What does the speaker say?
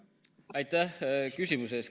Aitäh küsimuse eest!